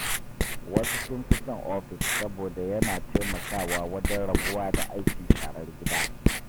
Wasu sun fi son ofis saboda yana taimakawa wajen rabuwa da aikin sharar gida.